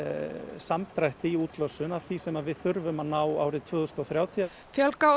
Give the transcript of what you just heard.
samdrætti í útlosun af því sem við þurfum að ná árið tvö þúsund og þrjátíu fjölga á